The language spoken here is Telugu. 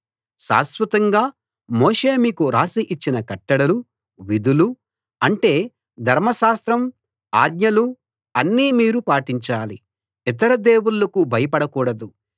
శాశ్వతంగా మోషే మీకు రాసి ఇచ్చిన కట్టడలు విధులు అంటే ధర్మశాస్త్రం ఆజ్ఞలు అన్నీ మీరు పాటించాలి ఇతర దేవుళ్ళకు భయపడ కూడదు